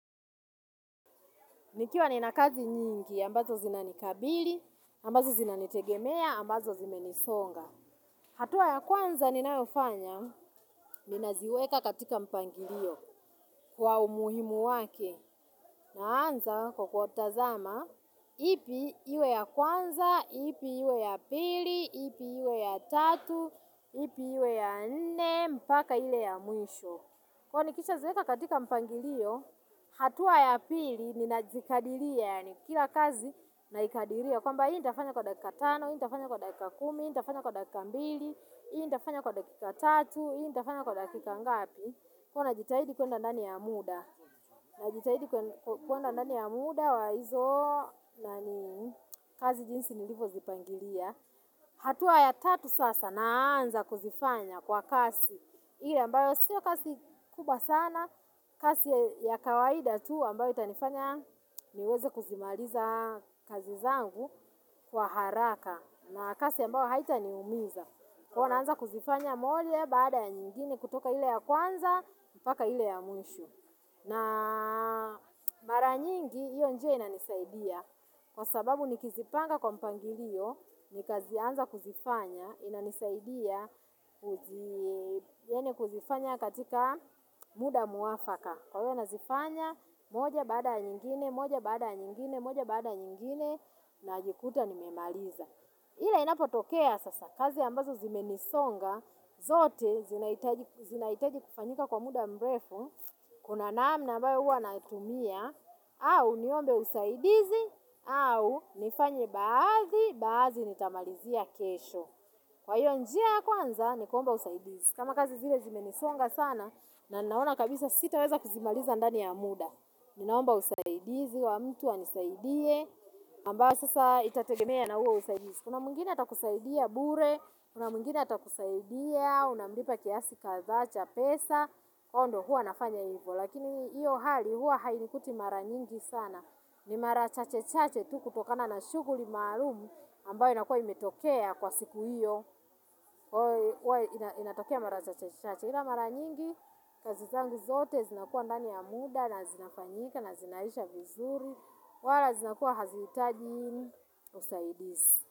Nikiwa nina kazi nyingi, ambazo zinanikabili, ambazo zinanitegemea, ambazo zimenisonga. Hatua ya kwanza ninayofanya, ninaziweka katika mpangilio kwa umuhimu wake. Naanza kwa kuwatazama, ipi iwe ya kwanza, ipi iwe ya pili, ipi iwe ya tatu, ipi iwe ya nne, mpaka ile ya mwisho. Kwa hiyo nikisha ziweka katika mpangilio, hatua ya pili ninazikadiria, yani kila kazi naikadiria. Kwamba hii nitafanya kwa dakika tano, hii nitafanya kwa dakika kumi, hii nitafanya kwa dakika mbili, hii nitafanya kwa dakika tatu, hii nitafanya kwa dakika ngapi. Kwa hiyo najitahidi kuenda ndani ya muda, najitahidi kuenda ndani ya muda wa hizo kazi jinsi nilivyo zipangilia. Hatua ya tatu sasa naanza kuzifanya kwa kasi ile ambayo sio kasi kubwa sana. Kasi ya kawaida tu ambayo itanifanya niweze kuzimaliza kazi zangu kwa haraka. Na kasi ambayo haita niumiza. Kwa hiyo naanza kuzifanya moja baada ya nyingine kutoka ile ya kwanza. Mpaka ile ya mwisho. Na mara nyingi iyo njia inasaidia. Kwa sababu nikizipanga kwa mpangilio nikazianza kuzifanya, inanisaidia kuzifanya katika muda mwafaka. Kwa hiyo nazifanya, moja baada ya nyingine, moja baada ya nyingine, moja baada ya nyingine, najikuta nimemaliza. Ila inapotokea sasa, kazi ambazo zimenisonga, zote zinahitaji kufanyika kwa muda mrefu, kuna naamna ambayo huwa natumia, au niombe usaidizi. Au nifanye baadhi. Baadhi nitamalizia kesho. Kwa hiyo njia ya kwanza nikuomba usaidizi kama kazi zile zimenisonga sana. Na ninaona kabisa sitaweza kuzimaliza ndani ya muda. Ninaomba usaidizi wa mtu anisaidie ambao sasa itategemea na huo usaidizi. Kuna mwingine atakusaidia bure. Kuna mwingine atakusaidia. Unamlipa kiasi kadhaa cha pesa. Kwa hio ndio hua nafanya ivo. Lakini iyo hali huwa hainikuti mara nyingi sana. Ni mara chache chache tu kutokana na shughuli maluum ambayo inakua imetokea kwa siku hiyo. Inatokea mara chache chache ila mara nyingi kazi zangu zote zinakuwa ndani ya muda. Na zinafanyika na zinaisha vizuri. Wala zinakuwa hazihitaji usaidizi.